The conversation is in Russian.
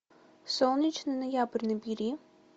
солнечный ноябрь набери